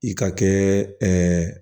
I ka kɛ